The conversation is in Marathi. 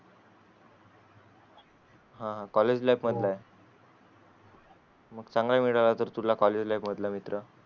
college life मधला आहे मग चांगला मिळाला तर तुला college life मधला मित्र.